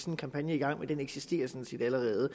en kampagne i gang men den eksisterer sådan set allerede